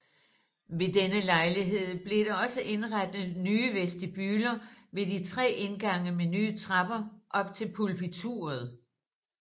Ved denne lejlighed blev der også indrettet nye vestibuler ved de tre indgange med nye trapper op til pulpituret